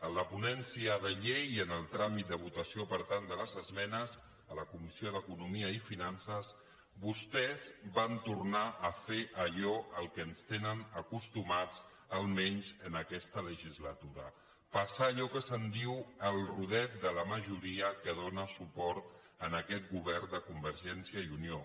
en la ponència de llei en el tràmit de votació per tant de les esmenes a la comissió d’economia i finances vostès van tornar a fer allò a què ens tenen acostumats almenys en aquesta legislatura passar allò que se’n diu el rodet de la majoria que dóna suport a aquest govern de convergència i unió